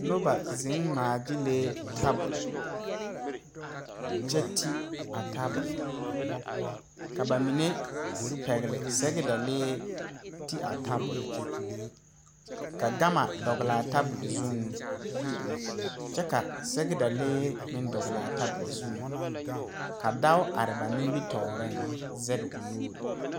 Noba zeŋ ngmaa gyilee tabole kyɛ te a tabole ka ba mine pɛgle sɛgedalee te a tabole ka gama dɔglaa tabole zuŋ kyɛ ka sɛgedalee meŋ dɔglaa tabol zuŋ ka dao are ba nimitooreŋ zege o nuure.